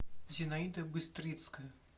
зинаида быстрицкая